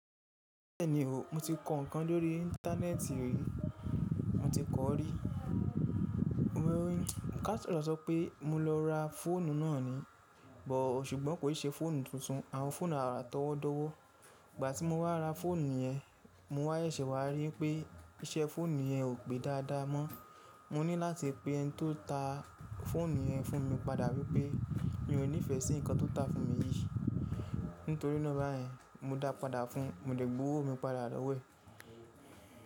Bẹ́ẹ̀ni o, mo ti kọ ǹkan lórí íńtánẹ́ẹ̀tì rí. Mo ti kọ̀ ọ́ rí. Mo wé wí, ka tọrọ so pé mo lọ ra fóònù náà ni, bọ̀ọ̀ ṣùgbọ́n kò ì ṣe fóònù tuntun, àwọn fóònù àrà tọwọ́dọ́wọ́. Ìgbà tí mo wá ra fóònù yẹn, mo wá yẹ̀ṣè wá rí pé iṣẹ́ fóònù yẹn ò pé dáadáa mọ́. Mo ní láti pe ẹni tó ta fóònù yẹn fún mi padà wípé, mi ò níìfẹ̀ sí ǹkan tó ń tà fún mi yìí. Nítorí náà bá yẹn, mo dáa padà fún un, mo dẹ̀ gbowó mi padà lọ́wo ẹ̀.